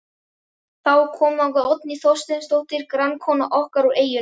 Þá kom þangað Oddný Þorsteinsdóttir, grannkona okkar úr eyjunni.